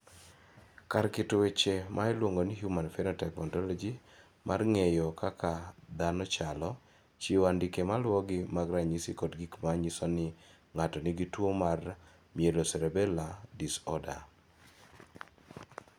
Kar keto weche ma iluongo ni Human Phenotype Ontology mar ng�eyo kaka dhano chalo, chiwo andike ma luwogi mag ranyisi kod gik ma nyiso ni ng�ato nigi tuo mar Myelocerebellar disorder.